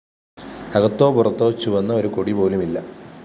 അകത്തോ പുറത്തോ ചുവന്ന ഒരു കൊടിപോലുമില്ല